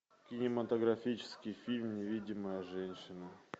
кинематографический фильм невидимая женщина